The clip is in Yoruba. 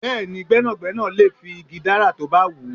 Bẹẹni, gbẹ́nàgbẹ́nà lè fi igi dárà tó bá wù ú.